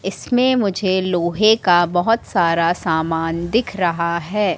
इसमें मुझे लोहे का बहोत सारा समान दिख रहा है।